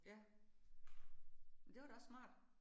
Ja. Men det var da også smart